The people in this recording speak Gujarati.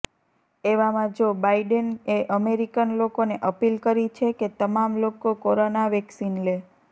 એવામાં જો બાઇડેન એ અમેરિકન લોકોને અપીલ કરી છે કે તમામ લોકો કોરોના વેક્સીન લે